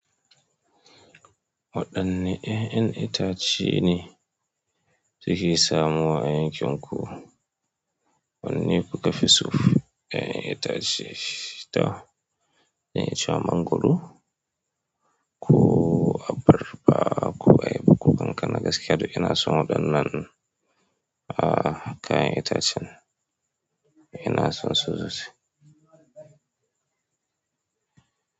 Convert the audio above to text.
Waɗanne ya'yan itace ne suke samuwa a yankin ku? Wanne kuka fi so? Ya'yan itace, to, zan iya cewa mangwaro, ko abarba, ko ayaba, ko kankana gaskiya duk ina son waɗannan ɗin a' a kayan itacen, ina son su sosai.